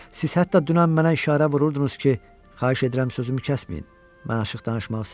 Siz hətta dünən mənə işarə vururdunuz ki, xahiş edirəm sözümü kəsməyin, mən açıq danışmağı sevirəm.